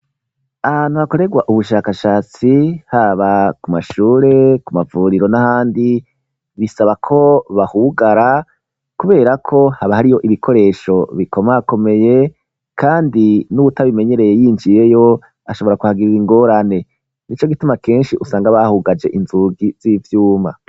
Ahantu hakoregwa ubushakashatsi haba ku mashure ku mavuriro n'ahandi bisaba ko bahugara kubera ko haba hariyo ibikoresho bikomakomeye kandi n'utabimenyereye yinjiyeyo ashobora kuhagirira ingorane nico gituma kenshi usanga bahugaje inzugi z'ivyuma.